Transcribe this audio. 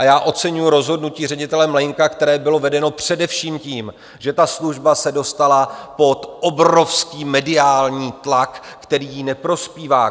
A já oceňuji rozhodnutí ředitele Mlejnka, které bylo vedeno především tím, že ta služba se dostala pod obrovský mediální tlak, který jí neprospívá.